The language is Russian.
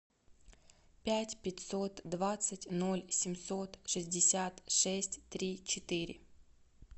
пять пятьсот двадцать ноль семьсот шестьдесят шесть три четыре